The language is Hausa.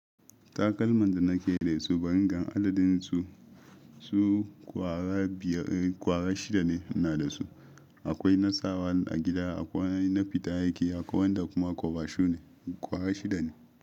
Takalman da nake da su, bari in gan adadin su, su ƙwara biyar, ƙwara shida ne ina da su. Akwai na sa wa a gida, akwai na fita aiki, akwai wanda kuma kwaba shu ne. Kwara shida ne.